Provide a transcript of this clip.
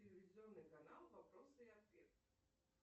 телевизионный канал вопросы и ответы